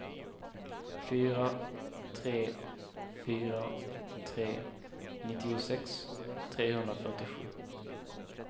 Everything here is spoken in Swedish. fyra tre fyra tre nittiosex trehundrafyrtiosju